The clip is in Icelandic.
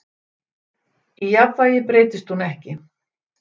í jafnvægi breytist hún ekki